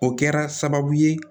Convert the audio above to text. O kɛra sababu ye